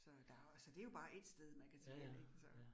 Så der jo altså, det jo bare ét sted man kan tage hen ik så